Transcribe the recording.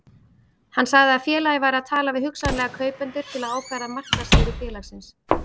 Hann sagði að félagið væri að tala við hugsanlega kaupendur til að ákvarða markaðsvirði félagsins.